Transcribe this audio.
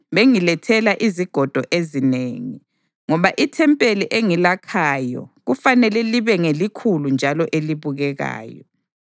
bengilethela izigodo ezinengi, ngoba ithempeli engilakhayo kufanele libe ngelikhulu njalo elibukekayo.